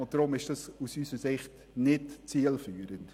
Deshalb ist dies aus unserer Sicht nicht zielführend.